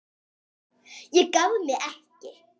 Ég gaf mig ekki!